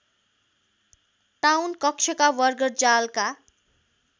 town कक्षका बर्गरजालका